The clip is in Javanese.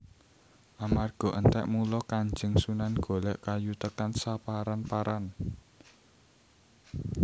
Amarga entek mula Kanjeng Sunan golek kayu tekan saparan paran